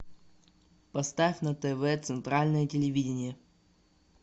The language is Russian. поставь на тв центральное телевидение